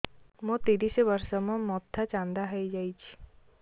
ମୋ ତିରିଶ ବର୍ଷ ମୋ ମୋଥା ଚାନ୍ଦା ହଇଯାଇଛି